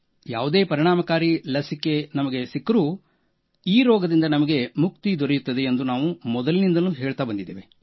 ಯಾವುದೇ ಪರಿಣಾಮಕಾರಿ ಲಸಿಕೆ ನಮಗೆ ಸಿಕ್ಕರೂ ಈ ರೋಗದಿಂದ ನಮಗೆ ಮುಕ್ತಿ ದೊರೆಯುತ್ತದೆ ಎಂದು ನಾವು ಮೊದಲಿನಿಂದಲೂ ಹೇಳುತ್ತ ಬಂದಿದ್ದೇವೆ